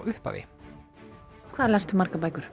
upphafi hvað last þú margar bækur